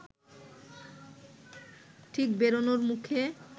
ঠিক বেরোনোর মুখে